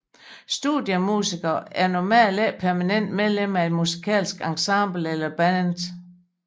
Studiemusikere er normalt ikke permanente medlemmer af et musikalsk ensemble eller band